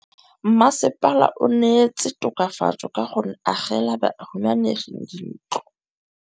Mmasepala o neetse tokafatsô ka go agela bahumanegi dintlo.